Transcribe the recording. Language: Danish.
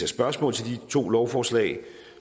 spørgsmål til de to lovforslag